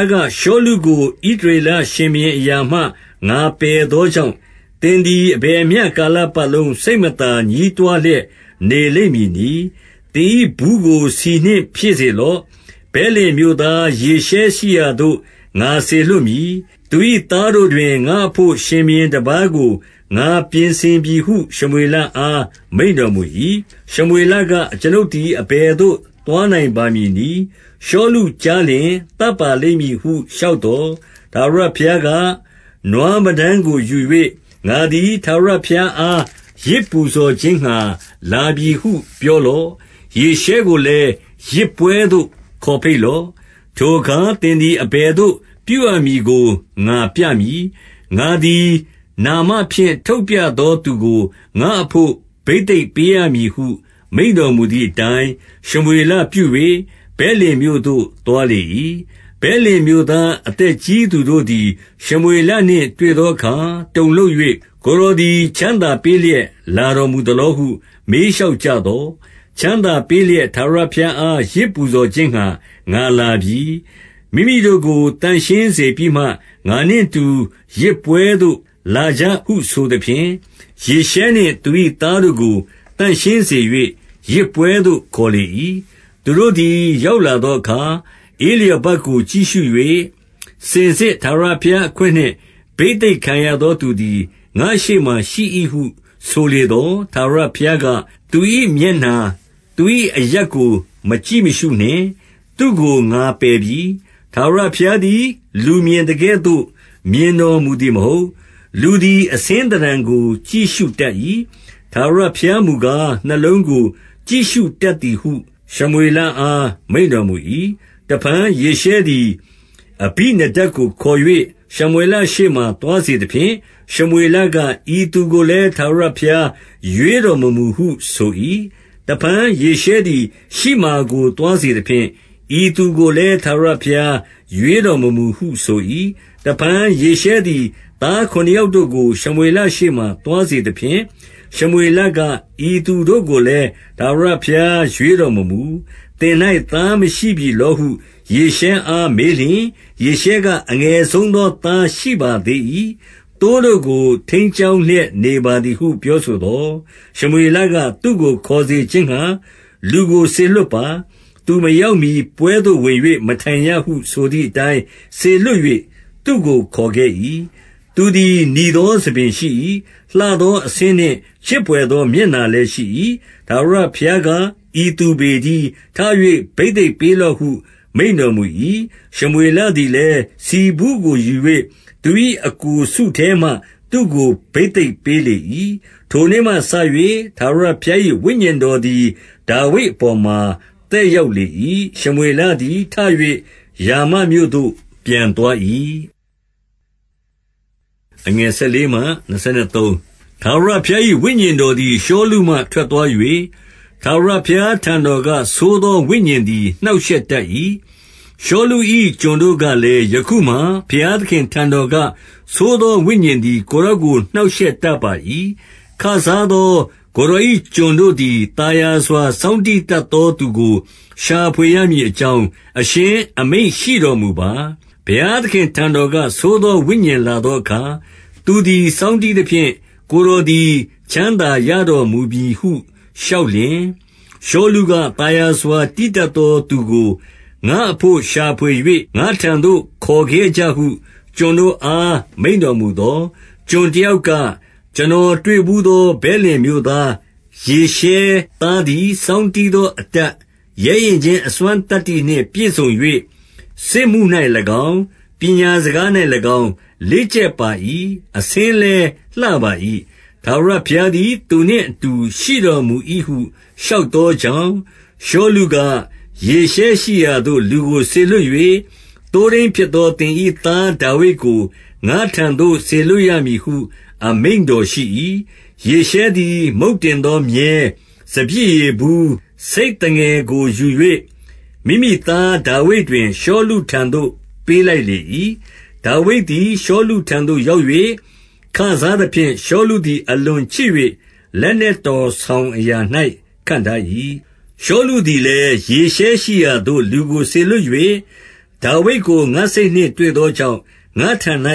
ားက၊ ရှောလုကို ဣသရေလရှင်ဘုရင်အရာမှ ငါပယ်သောကြောင့်၊ သင်သည် အဘယ်မျှ ကာလပတ်လုံး စိတ်မသာ ညည်းတွားလျက် နေလိမ့်မည်နည်း။ သင်၏ဘူးကို ဆီနှင့် ပြည့်စေလော့။ ဗက်လင်မြို့သား ယောရှဲရှိရာသို့ ငါစေလွှတ်မည်။ သူ၏သားတို့တွင် ငါ့အဘို့ ရှင်ဘုရင် တပါးကို ငါပြင်ဆင်ပြီဟု ရှမွေလအား မိန့်တော်မူ၏။ 2 ရှမွေလက၊ အကျွန်ုပ်သည် အဘယ်သို့ သွားနိုင်ပါမည်နည်း။ ရှောလုကြားလျှင် သတ်ပါလိမ့်မည်ဟု လျှောက်သော်၊ ထာဝရဘုရားက၊ နွားမတန်းကိုယူ၍ ငါသည် ထာဝရဘုရားအား ယဇ်ပူဇော်ခြင်းငှါ လာပြီဟု ပြောလော့။ 3 ယေရှဲကိုလည်း ယဇ်ပွဲသို့ ခေါ်ဘိတ်လော့။ ထိုအခါ သင်သည် အဘယ်သို့ ပြုရမည်ကို ငါပြမည်။ ငါသည် နာမဖြင့် ထုတ်ပြသောသူကို ငါ့အဘို့ ဘိသိက်ပေးရမည်ဟု မိန့်တော်မူသည်အတိုင်း၊- 4 ရှမွေလပြု၍ ဗက်လင်မြို့သို့ သွားလေ၏။ ဗက်လင်မြို့ သားအသက်ကြီးသူတို့သည် ရှမွေလနှင့် တွေ့သောအခါ တုန်လှုပ်၍၊ ကိုယ်တော်သည် ချမ်းသာပေးလျက် လာတော်မူသလောဟု မေးလျှောက် ကြသော်၊ 5 ချမ်းသာပေးလျက် ထာဝရဘုရားအား ယဇ်ပူဇော်ခြင်းငှါ ငါလာပြီ။ မိမိတို့ကို သန့်ရှင်းစေပြီးမှ ငါနှင့်အတူ ယဇ်ပွဲသို့လာကြဟု ဆိုသဖြင့်၊ ယေရှဲနှင့် သူ၏သားတို့ကို သန့်ရှင်းစေ၍ ယဇ်ပွဲသို့ ခေါ်လေ၏။ 6 သူတို့သည် ရောက်လာသောအခါ ဧလျာဘကို ကြည့်ရှု၍၊ စင်စစ်ထာဝရဘုရားအခွင့်နှင့် ဘိသက်ခံရသော သူသည် ငါ့ရှေ့မှာရှိ၏ဟု ဆိုလေသော်၊ 7 ထာဝရဘုရားက၊ သူ၏မျက်နှာ၊ သူ၏အရပ်ကို မကြည့်မရှုနှင့်။ သူ့ကို ငါပယ်ပြီ။ ထာဝရဘုရားသည် လူမြင်သကဲ့သို့ မြင်တော်မူသည် မဟုတ်။ လူသည် အဆင်းသဏ္ဌာန်ကို ကြည့်ရှုတတ်၏။ ထာဝရဘုရား မူကား နှလုံးကို ကြည့်ရှုတတ်သည်ဟု ရှမွေအား မိန့်တော်မူ၏။ 8 တဖန် ယေရှဲသည် အဘိနဒပ်ကို ခေါ်၍ ရှမွေလရှေ့မှာ သွားစေသဖြင့်၊ ရှမွေလက၊ ဤသူကိုလည်း ထာဝရဘုရား ရွေးတော်မမူဟုဆို၏။ 9 တဖန်ယေရှဲသည် ရှိမာကို သွားစေသဖြင့်၊ ဤသူကိုလည်း ထာဝရဘုရားရွေးတော်မမူဟု ဆို၏။ 10 တဖန်ယေရှဲသည် သားခုနစ်ယောက်တို့ကို ရှမွေလရှေ့မှာ သွားစေသဖြင့်၊ ရှမွေလက၊ ဤသူတို့ကို လည်း ထာဝရဘုရား ရွေးတော်မမူ။ 11 သင်၌ သားမရှိပြီလောဟု ယေရှဲအား မေးလျှင်၊ ယေရှဲက အငယ်ဆုံးသော သားရှိပါသေး၏။ သိုးတို့ကို ထိန်းကျောင်းလျက် နေပါသည်ဟု ပြောဆိုသော်၊ ရှမွေလက သူ့ကို ခေါ်စေခြင်းငှါ လူကို စေလွှတ် ပါ။ သူမရောက်မှီ ပွဲသို့ ဝင်၍ မထိုင်ရဟု ဆိုသည်အတိုင်း၊ 12 စေလွှတ်၍ သူ့ကို ခေါ်ခဲ့၏။ သူသည် နီသောဆံပင်ရှိ၏။ လှသောအဆင်းနှင့် ချစ်ဘွယ်သော မျက်နှာ လည်းရှိ၏။ ထာဝရဘုရားက ဤသူပေတည်း။ ထ၍ ဘိသိက်ပေးလော့ဟု မိန့်တော်မူ၏။ 13 ရှမွေလသည်လည်း၊ ဆီဘူးကိုယူ၍ သူ၏ အစ်ကိုစုထဲမှာ သူ့ကို ဘိသိက်ပေးလေ၏။ ထိုနေ့မှစ၍ ထာဝရဘုရား၏ ဝိညာဉ်တော်သည် ဒါဝိဒ်အပေါ်မှာ သက်ရောက်လေ၏။ ရှမွေသည် ထ၍ ရာမ မြို့သို့ ပြန်သွား၏။ 14 ထာဝရဘုရား၏ ဝိညာဉ်တော်သည် ရှောလုမှ ထွက်သွား၍၊ ထာဝရဘုရားထံတော်က ဆိုးသော ဝိညာဉ်သည် နှောင့်ရှက်တတ်၏။ 15 ရှောလု၏ ကျွန်တို့ကလည်း၊ ယခုမှာ ဘုရားသခင်ထံတော်က ဆိုးသော ဝိညာဉ်သည် ကိုယ်တော်ကို နှောင့်ရှက်တတ်ပါ၏။ 16 ခစားသော ကိုယ်တော်၏ ကျွန်တို့သည်၊ သာယာစွာ စောင်းတီးတတ်သောသူကို ရှာဖွေရမည် အကြောင်း အရှင်အမိန့်ရှိတော်မူပါ။ ဘုရားသခင့်ထံတော်က ဆိုးသောဝိညာဉ် လာသောအခါ၊ သူသည် စောင်းတီးသဖြင့် ကိုယ်တော်သည် ချမ်းသာရတော်မူမည်ဟု လျှောက်လျှင်၊ 17 ရှောလုက၊ သာယာစွာ တီးတတ်သောသူကို ငါ့အဘို့ ရှာဖွေ၍ ငါ့ထံသို့ ခေါ်ခဲ့ကြဟု ကျွန်တို့အား မိန့်တော်မူသော်၊ 18 ကျွန်တယောက်က၊ ကျွန်တော်တွေ့ဘူးသော ဗက်လင်မြို့သား ယေရှဲသားသည် စောင်းတီးသောအတတ်၊ ရဲရင့်ခြင်းအစွမ်းသတ္တိနှင့် ပြည့်စုံ၍၊ စစ်မှု၌၎င်း၊ ပညာစကား၌၎င်း လေ့ကျက်ပါ၏။ အဆင်းလည်း လှပါ၏။ ထာဝရဘုရားသည်သူနှင့်အတူ ရှိတော်မူ၏ဟု လျှောက်သောကြောင့်၊ 19 ရှောလုက၊ ယေရှဲရှိရာသို့ လူကိုစေလွှတ်၍၊ သိုးထိန်းဖြစ်သော သင်၏သားဒါဝိဒ်ကို ငါ့ထံသို့ စေလွှတ် ရမည်ဟု အမိန့်တော်ရှိ၏။ 20 ယေရှဲသည် မုန့်တင်သော မြည်း၊ စပျစ်ရည်ဘူး၊ ဆိတ်သငယ်ကို ယူ၍ မိမိသားဒါဝိဒ်တွင် ရှောလုထံ သို့ ပေးလိုက်လေ၏။ 21 ဒါဝိဒ်သည် ရှောလုထံသို့ ရောက်၍ ခစားသဖြင့်၊ ရှောလုသည် အလွန်ချစ်၍ လက်နက်တော်ဆောင် အရာ၌ ခန့်ထား၏။ 22 ရှောလုသည်လည်း ယေရှဲရှိရာသို့ လူကိုစေလွှတ်၍၊ ဒါဝိဒ်ကို ငါ့စိတ်နှင့်တွေ့သောကြောင့် ငါ့ထံ၌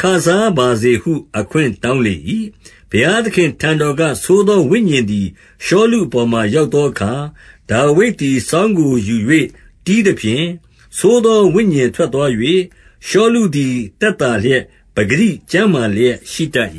ခစားပါစေဟု အခွင့်တောင်းလေ၏။ 23 ဘုရားသခင့်ထံတော်က ဆိုးသောဝိညာဉ်သည် ရှောလုအပေါ်မှာ ရောက်သောအခါ၊ ဒါဝိဒ်သည် စောင်းကိုယူ၍ တီးသဖြင့် ဆိုးသောဝိညာဉ်ထွက်သွား၍၊ ရှောလုသည် သက်သာလျက် ပကတိ ကျန်းမာ လျက်ရှိတတ်